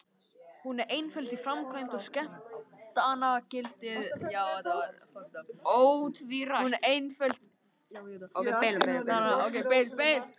Hún er einföld í framkvæmd og skemmtanagildið ótvírætt.